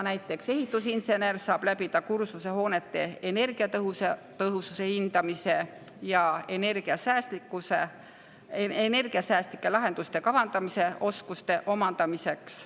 Ehitusinsener saab läbida näiteks kursuse hoonete energiatõhususe hindamise ja energiasäästlike lahenduste kavandamise oskuste omandamiseks.